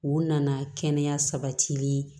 U nana kɛnɛya sabatili